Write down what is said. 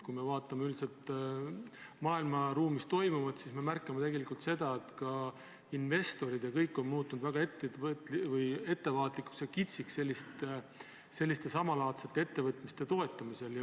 Kui me vaatame üldiselt maailmas toimuvat, siis me märkame, et investorid on muutunud väga ettevaatlikuks ja kitsiks selliste ettevõtmiste toetamisel.